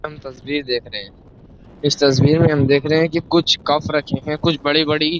हम तस्वीर देख रहे हैं इस तस्वीर में हम देख रहे हैं कि कुछ कफ रखे हैं कुछ बड़ी-बड़ी --